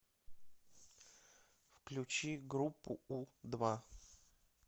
включи группу у два